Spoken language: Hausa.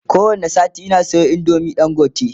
ko wani sati Ina Sayo indomin dangote